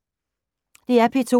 DR P2